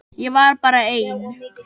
Ég var bara ein.